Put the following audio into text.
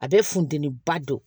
A bɛ funteniba don